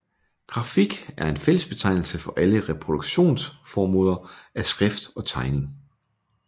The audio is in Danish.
Grafik er en fællesbetegnelse for alle reproduktionsmåder af skrift og tegning